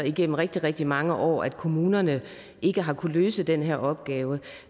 igennem rigtig rigtig mange år at kommunerne ikke har kunnet løse den her opgave